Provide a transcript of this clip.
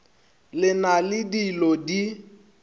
le na le dilo di